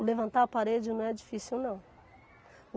O levantar a parede não é difícil, não.